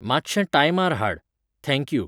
मातशें टायमार हाड. Thank you.